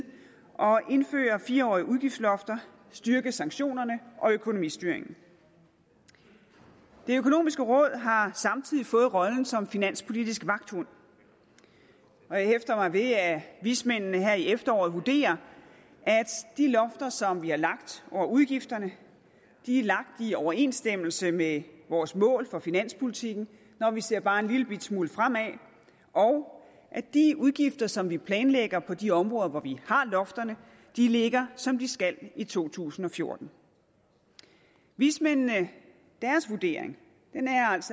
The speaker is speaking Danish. at indføre fire årige udgiftslofter styrke sanktionerne og økonomistyringen det økonomiske råd har samtidig fået rollen som finanspolitisk vagthund og jeg hæfter mig ved at vismændene her i efteråret vurderer at de lofter som vi har lagt over udgifterne er lagt i overensstemmelse med vores mål for finanspolitikken når vi ser bare en lillebitte smule fremad og at de udgifter som vi planlægger på de områder hvor vi har lofterne ligger som de skal i to tusind og fjorten vismændenes vurdering